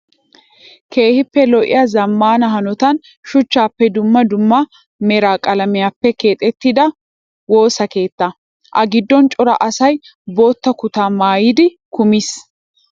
Keehippe lo''iyaa zammaana hanotan shuchchappenne dumma dumma mera qalamiyaappe keexettida woosa keetta. A giddon cora asayi bootta kutaa maayyidi kumis.